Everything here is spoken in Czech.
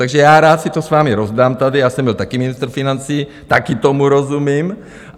Takže já rád si to s vámi rozdám tady, já jsem byl taky ministr financí, taky tomu rozumím.